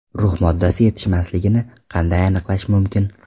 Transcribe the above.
Rux moddasi yetishmasligini qanday aniqlash mumkin?